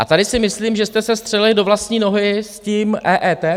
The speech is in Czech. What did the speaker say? A tady si myslím, že jste se střelili do vlastní nohy s tím EET.